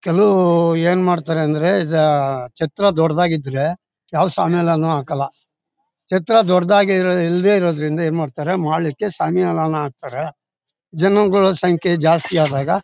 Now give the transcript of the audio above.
ಕೆಲವರು ಏನು ಮಾಡ್ತಾರೆ ಅಂದ್ರೆ ಜ ಛತ್ರ ದೊಡ್ಡದಾಗಿದ್ರೆ ಯಾವ ಶಾಮಿಯಾನನು ಹಾಕಲ್ಲ ಛತ್ರ ದೊಡ್ಡದಾಗಿರ್ ಇಲ್ಲದೆ ಇರೋದ್ರಿಂದ ಏನ್ ಮಾಡ್ತಾರೆ ಮಾಳಿಕ್ಕೆ ಶಾಮಿಯಾನ ಹಾಕ್ತಾರೆ ಜನಗಳ ಸಂಖ್ಯೆ ಜಾಸ್ತಿ ಆದಾಗ.